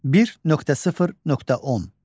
1.0.10.